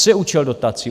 Co je účel dotací?